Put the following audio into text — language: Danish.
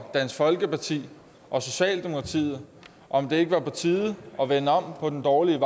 dansk folkeparti og socialdemokratiet om det ikke var på tide at vende om på den dårlige